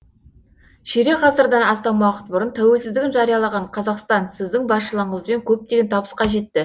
ширек ғасырдан астам уақыт бұрын тәуелсіздігін жариялаған қазақстан сіздің басшылығыңызбен көптеген табысқа жетті